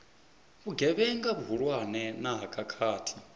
vhugevhenga vhuhulwane na ha khakhathi